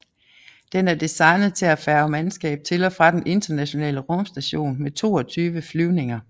Den er designet til at færge mandskab til og fra den Internationale Rumstation med 22 flyvninger